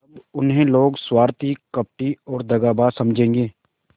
अब उन्हें लोग स्वार्थी कपटी और दगाबाज समझेंगे